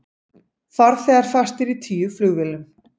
Farþegar fastir í tíu flugvélum